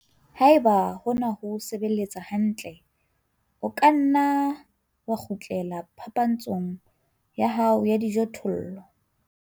Ha eba hona ho o sebeletsa hantle, o ka nna wa kgutlela phapantshong ya hao ya dijothollo.